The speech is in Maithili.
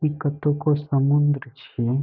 ई कत्तो को समुंद्र छी |